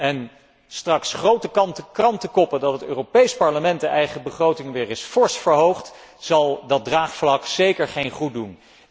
En straks grote krantenkoppen dat het Europees Parlement de eigen begroting weer eens fors verhoogt, zal dat draagvlak zeker geen goeddoen.